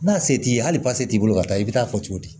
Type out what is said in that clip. N'a se t'i ye hali t'i bolo ka taa i bɛ taa fɔ cogo di